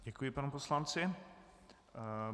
Děkuji panu poslanci.